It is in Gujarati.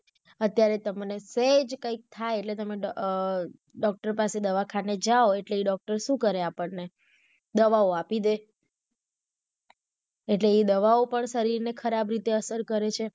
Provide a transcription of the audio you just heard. અત્યારે તમેને સેજ કંઈક થાય એટલે તમે અમ doctor પાસે દવાખાને જાઓ એટલે એ doctor શુ કરે આપણને દવાઓ આપી દે એટલે એ દવાઓ પણ શરીર ને ખરાબ રીતે અસર કરે છે.